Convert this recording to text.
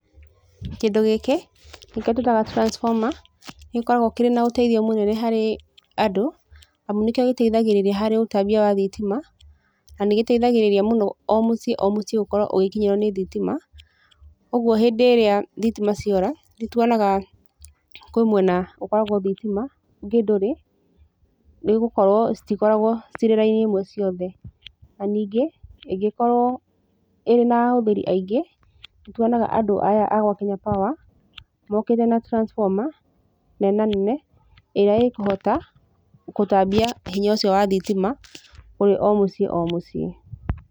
Kĩndũ gĩkĩ nĩkĩo tũĩtaga transformer, nĩ gĩkoragwo kĩrĩ na ũteithio mũnene harĩ andũ, amu nĩkĩo gĩteithagĩrĩria harĩ ũtambia wa thitima, na nĩgĩteithagĩrĩria mũno o mũciĩ o mũciĩ gũkorwo ũgĩkinyĩrwo nĩ thitima, ũguo hĩndĩ ĩrĩa thitima ciora, nĩ tuonaga kwĩ mwena ũkoragwo thitima, ũngĩ ndũrĩ, nĩ gũkorwo citikoragwo cirĩ raini ĩmwe ciothe, na ningĩ, ĩngĩkorwo ĩrĩ na ahũthĩri aingĩ, nĩ tuonaga andũ aya a gwa Kenya Power, mokĩte na transformer nenanene, ĩrĩa ĩkũhota gũtambia hinya ũcio wa thitima, kũrĩ o mũciĩ o mũciĩ.